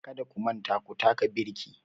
Kada ku manta ku taka birki